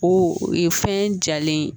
O ye fɛn jalen ye